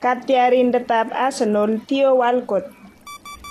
katiarindetab Arsenol Theo Walcott.